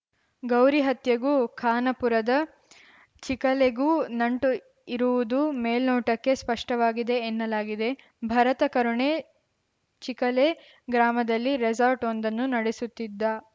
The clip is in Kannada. ಗೌರಿ ಹತ್ಯೆಗೂ ಖಾನಾಪುರದ ಚಿಖಲೆಗೂ ನಂಟು ಇರುವುದು ಮೇಲ್ನೋಟಕ್ಕೆ ಸ್ಪಷ್ಟವಾಗಿದೆ ಎನ್ನಲಾಗಿದೆ ಭರತ ಕರುಣೆ ಚಿಖಲೆ ಗ್ರಾಮದಲ್ಲಿ ರೆಸಾರ್ಟವೊಂದನ್ನು ನಡೆಸುತ್ತಿದ್ದ